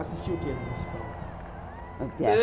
Assistia o quê no municipal? No teatro